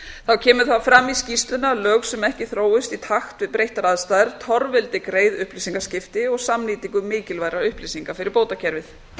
þá kemur fram í skýrslunni að lög sem ekki þróist í takt við breyttar aðstæður torveldi greið upplýsingaskipti og samnýtingu mikilvægra upplýsinga fyrir bótakerfið